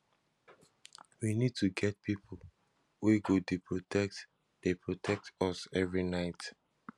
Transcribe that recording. we need to get people wey go dey protect dey protect us every night